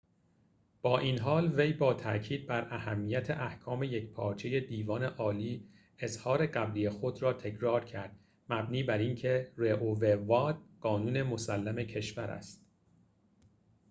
با این حال وی با تأکید بر اهمیت احکام یکپارچه دیوان عالی اظهار قبلی خود را تکرار کرد مبنی بر اینکه roe v wade قانون مسلم کشور است